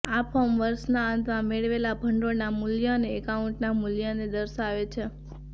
આ ફોર્મ વર્ષના અંતમાં મેળવેલા ભંડોળના મૂલ્ય અને એકાઉન્ટના મૂલ્યને દર્શાવે છે